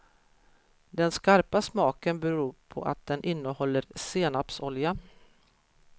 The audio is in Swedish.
Den skarpa smaken beror på att den innehåller senapsolja.